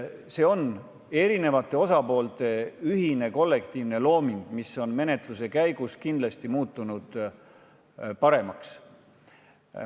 See on erinevate osapoolte ühine kollektiivne looming, mis on menetluse käigus kindlasti muutunud paremaks.